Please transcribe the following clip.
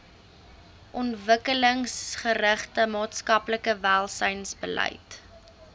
ontwikkelingsgerigte maatskaplike welsynsbeleid